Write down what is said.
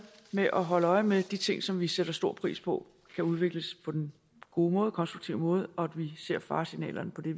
ved at holde øje med at de ting som vi sætter stor pris på kan udvikles på den gode konstruktive måde og vi ser faresignalerne på det